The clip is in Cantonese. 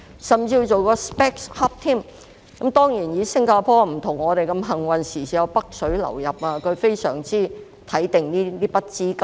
新加坡並不如香港般幸運，不時有"北水"流入，現在非常注意這筆資金。